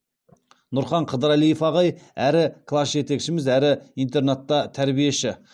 нұрхан қыдырәлиев ағай әрі класс жетекшіміз әрі интернатта тәрбиеші